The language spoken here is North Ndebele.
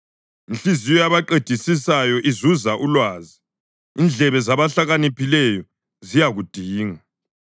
Inhliziyo yabaqedisisayo izuza ulwazi; indlebe zabahlakaniphileyo ziyakudinga.